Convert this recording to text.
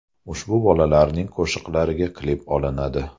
Ushbu bolalarning qo‘shiqlariga klip olinadi.